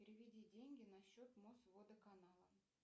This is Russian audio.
переведи деньги на счет мосводоканала